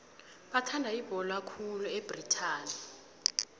bathanda ibhola khulu ebritani